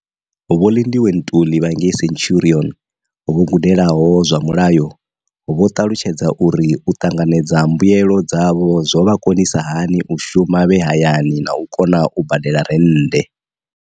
Vho Lindiwe Ntuli vha ngei centurion, vho gudelaho zwa mulayo, vho ṱalutshedza uri u ṱanganedza mbuelo dzavho zwo vha konisa hani u shuma vhe hayani na u kona u badela rennde.